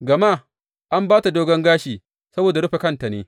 Gama an ba ta dogon gashi saboda rufe kanta ne.